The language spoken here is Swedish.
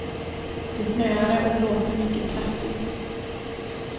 Det snöade och blåste mycket kraftigt.